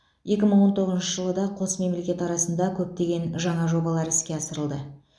екі мың он тоғызыншы жылы да қос мемлекет арасында көптеген жаңа жобалар іске асырылды